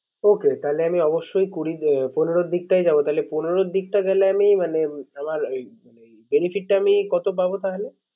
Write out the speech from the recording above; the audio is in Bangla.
Okay তাহলে আমি অবশ্যই আমি কুড়ি মানে পনেরো দিক টাই যাবো। তাহলে পনেরো এর দিকটাই লেগে আমি মানে আমার আমার Benefit টা আমি কত পাবো তাহলে